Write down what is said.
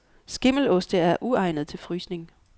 Skimmeloste er uegnede til frysning.